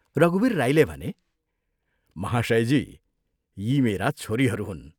रघुवीर राईले भने, "महाशयजी, यी मेरा छोरीहरू हुन्।